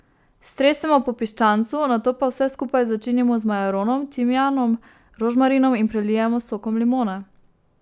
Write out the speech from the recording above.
Stresemo po piščancu, nato pa vse skupaj začinimo z majaronom, timijanom, rožmarinom in prelijemo s sokom limone.